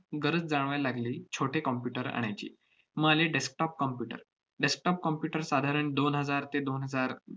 गरज जाणवायला लागली छोटे computer आणायची. मग आले desktop computer. desktop computer साधारण दोन हजार ते दोन हजार